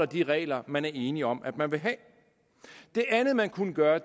de regler man er enige om at man vil have det andet man kunne gøre